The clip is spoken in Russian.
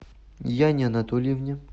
яне анатольевне